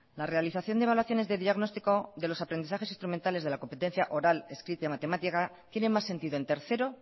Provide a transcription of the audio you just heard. la realización de evaluaciones de diagnóstico de los aprendizajes instrumentales de la competencia oral escrita y matemática tiene más sentido en tercero